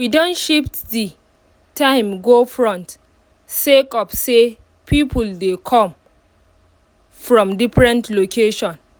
we don shift the time go front sake of say people dey come from different locations